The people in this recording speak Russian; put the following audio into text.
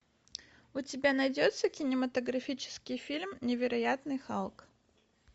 у тебя найдется кинематографический фильм невероятный халк